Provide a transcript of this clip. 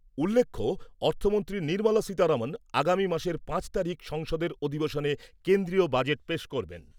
উল্লেখ্য, অর্থমন্ত্রী নির্মলা সীতারমন আগামী মাসের পাঁচ তারিখ সংসদের অধিবেশনে কেন্দ্রীয় বাজেট পেশ করবেন।